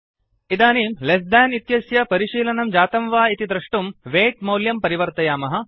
इदानीं less than इत्यस्य परिशीलनं जातं वा इति द्रष्टुं वेय्ट् मौल्यं परिवर्तयामः